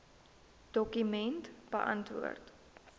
dokument beantwoord